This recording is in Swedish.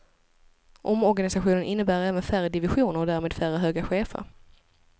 Omorganisationen innebär även färre divisioner och därmed färre höga chefer.